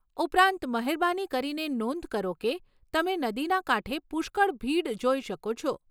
ઉપરાંત, મહેરબાની કરીને નોંધ કરો કે તમે નદીના કાંઠે પુષ્કળ ભીડ જોઈ શકો છો.